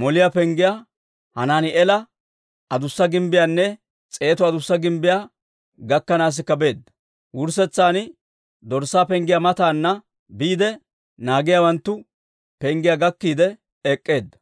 Moliyaa Penggiyaa, Hanaani'eela Adussa Gimbbiyaanne S'eetu Adussa Gimbbiyaa gakkanaasikka beedda. Wurssetsan Dorssaa Penggiyaa mataana biide, Naagiyaawanttu Penggiyaa gakkiide ek'k'eedda.